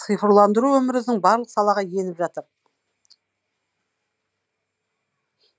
цифрландыру өміріміздің барлық салаға еніп жатыр